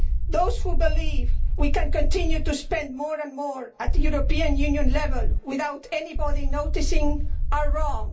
Those who believe we can continue to spend more and more at European Union level without anybody noticing are wrong.